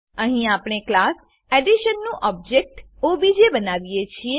અહીં આપણે class addition નું ઓબજેક્ટ ઓબીજે બનાવીએ છીએ